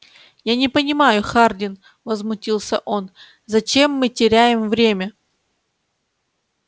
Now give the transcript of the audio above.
я не понимаю хардин возмутился он зачем мы теряем время